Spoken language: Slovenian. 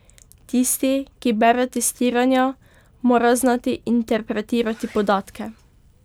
Tisti, ki bere testiranja, mora znati interpretirati podatke.